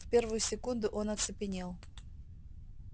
в первую секунду он оцепенел